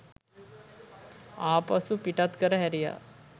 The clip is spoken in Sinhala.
ආපසු පිටත් කර හැරියා